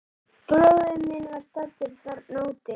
Bróðir minn var staddur þarna úti.